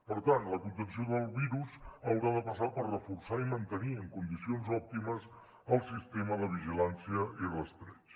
per tant la contenció del virus haurà de passar per reforçar i mantenir en condicions òptimes el sistema de vigilància i rastreig